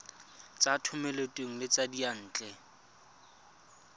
tsa thomeloteng le tsa diyantle